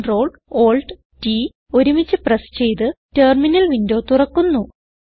Ctrl Alt T ഒരുമിച്ച് press ചെയ്ത് terminal window തുറക്കുന്നു